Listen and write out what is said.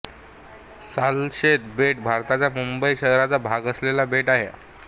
सालशेत बेट भारताच्या मुंबई शहराचा भाग असलेले बेट आहे